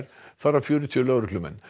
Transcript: þar af fjörtíu lögreglumenn